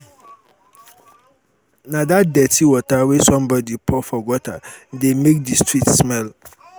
na dat dirty water wey somebody pour for gutter dey make the street smell